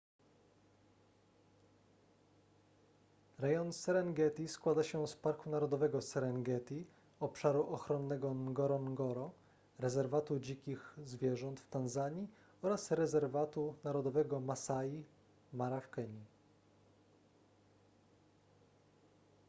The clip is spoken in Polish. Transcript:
rejon serengeti składa się z parku narodowego serengeti obszaru ochronnego ngorongoro rezerwatu dzikich zwierząt w tanzanii oraz rezerwatu narodowego masai mara w kenii